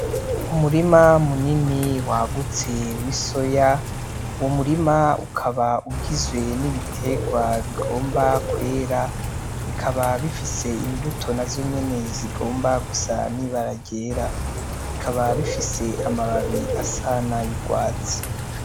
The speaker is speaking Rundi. Umurima munini wagutse w'isoya, uwo murima ukaba ugizwe n'ibiterwa bigomba kwera bikaba bifise imbuto nazo nyenee zigomba gusa n'ibara ryera bikaba bifise amababi asa n'ay'urwatsi.